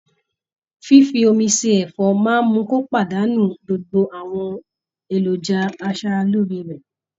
fífi omi se ẹ̀fọ́ máa mú kí ó pàdánù gbogbo àwọn èròjà aṣara lóore rẹ̀.